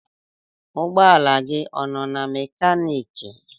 Ụgbọ ala gị ọ nọ na mekaniki?